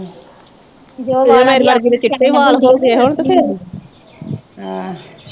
ਜੇ ਉਹ ਮੇਰੇ ਵਰਗੀ ਦੇ ਚਿੱਟੇ ਵਾਲ ਹੋ ਗਏ ਹੋਣ ਤੇ ਫਿਰ